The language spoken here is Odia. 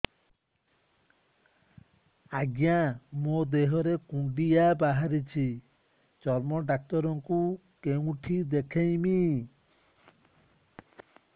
ଆଜ୍ଞା ମୋ ଦେହ ରେ କୁଣ୍ଡିଆ ବାହାରିଛି ଚର୍ମ ଡାକ୍ତର ଙ୍କୁ କେଉଁଠି ଦେଖେଇମି